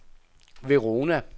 Verona